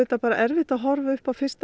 erfitt að horfa upp á fyrsta